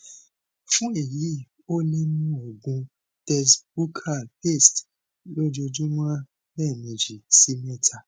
fun eyi o le mu oògùn tess buccal paste lojoojumọ lẹmeji si mẹta